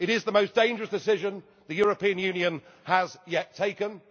is mad. It is the most dangerous decision the European Union has yet